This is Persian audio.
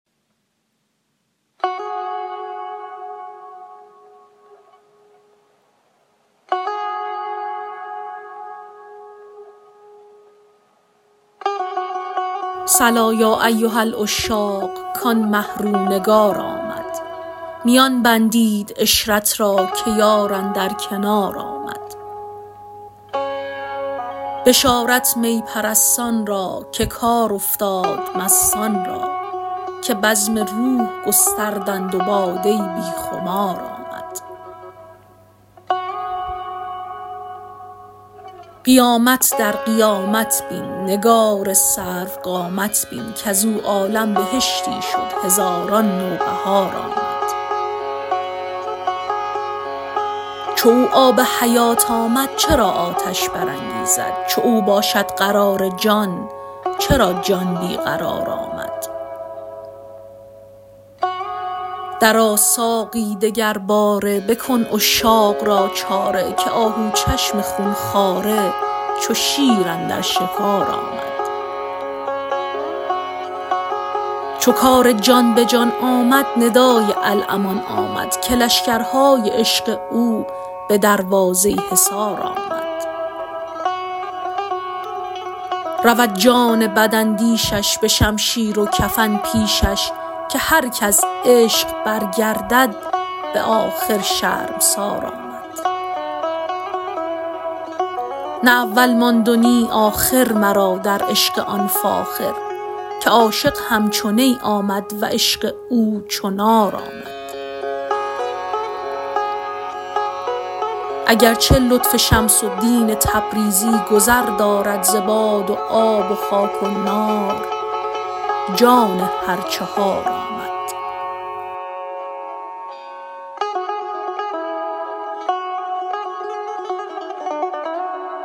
صلا یا ایها العشاق کان مه رو نگار آمد میان بندید عشرت را که یار اندر کنار آمد بشارت می پرستان را که کار افتاد مستان را که بزم روح گستردند و باده بی خمار آمد قیامت در قیامت بین نگار سروقامت بین کز او عالم بهشتی شد هزاران نوبهار آمد چو او آب حیات آمد چرا آتش برانگیزد چو او باشد قرار جان چرا جان بی قرار آمد درآ ساقی دگرباره بکن عشاق را چاره که آهوچشم خون خواره چو شیر اندر شکار آمد چو کار جان به جان آمد ندای الامان آمد که لشکرهای عشق او به دروازه حصار آمد رود جان بداندیشش به شمشیر و کفن پیشش که هر که از عشق برگردد به آخر شرمسار آمد نه اول ماند و نی آخر مرا در عشق آن فاخر که عاشق همچو نی آمد و عشق او چو نار آمد اگر چه لطف شمس الدین تبریزی گذر دارد ز باد و آب و خاک و نار جان هر چهار آمد